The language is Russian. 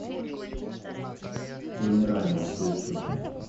вымирание включи